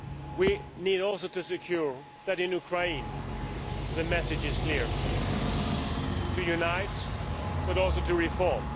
We also need to ensure that in Ukraine the message is clear to unite but also to reform.